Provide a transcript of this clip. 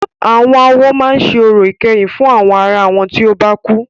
Àwọn awo máa ṣe orò ìkẹyìn fún àwọn ará wọn tí o bá kú.